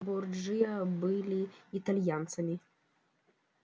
борджиа были итальянцами